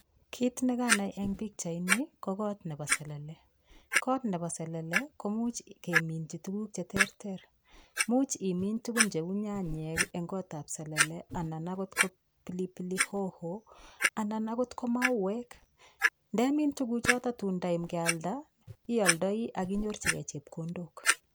Kit nekanai en pichait i ko got nebo selele, got nebo selele koimuch keminyii tuguuk che teeter. Imuch imin tuguuk cheu nyanyek i eng gotab seller, anan ko pilipili hihi, anan okot ko mauwek. Ndemin tuguchuton kutun kealdai ioldoi ak inyorchigei chepkondook